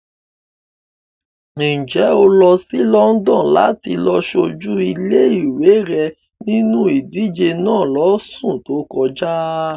Ǹ jẹ́ o lọ sí London láti lọ ṣojú ilé-ìwé rẹ nínu ìdíje náà lóṣù tó kọjá?